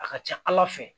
A ka ca ala fɛ